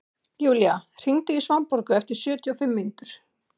Julia, hringdu í Svanborgu eftir sjötíu og fimm mínútur.